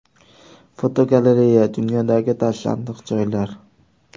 Fotogalereya: Dunyodagi tashlandiq joylar.